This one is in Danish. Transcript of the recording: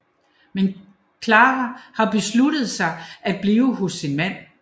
Men Klara har besluttet sig at blive hos sin mand